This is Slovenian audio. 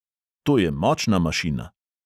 To je močna mašina.